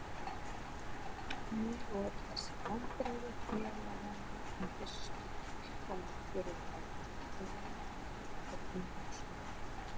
Mér voru þessi viðbrigði félaganna í fyrstu fullkomið furðuefni og lengi á eftir umhugsunarefni.